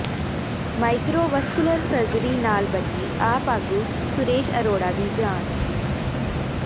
micro vascular surgery ਨਾਲ ਬਚੀ ਆਪ ਆਗੂ ਸੁਰੇਸ਼ ਅਰੋੜਾ ਦੀ ਜਾਨ